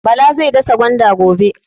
Bala zai dasa gwanda gobe.